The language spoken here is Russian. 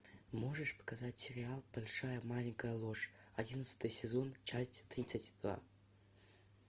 можешь показать сериал большая маленькая ложь одиннадцатый сезон часть тридцать два